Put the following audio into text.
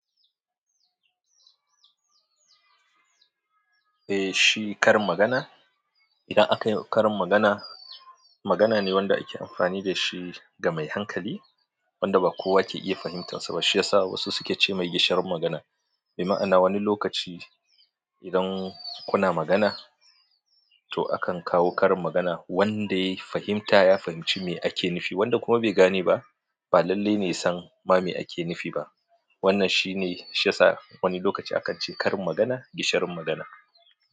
Eh shi karin magana, idan aka yi ƙarin magana, magana ne wanda ake amfani da shi ga mai hankali wanda ba kowa ke iya fahimtar sa ba. Shi ya sa wasu suke ce mai gishirin magana. Bi ma'ana wani lokaci idan kuna magana, to akan kawo karin magana wanda ya fahimta ya fahimci mai ake nufi, wanda kuma bai gane ba, ba lallai ne ya san mai ake nufi ha wannan shine shi ya sa wani lokaci akan ce karin magana, gishirin magana.